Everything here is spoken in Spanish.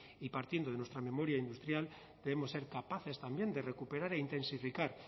y partiendo de nuestra memoria industrial debemos ser capaces también de recuperar e intensificar